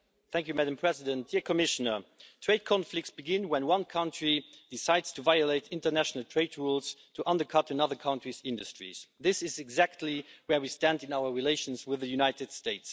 Madam President, trade conflicts begin when one country decides to violate international trade rules to undercut another country's industries. This is exactly where we stand in our relations with the United States.